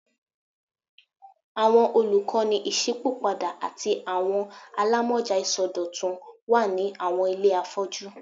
Awọn olukọni iṣipopada ati awọn alamọja isọdọtun wa ni awọn ile afọju